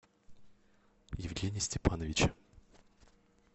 евгения степановича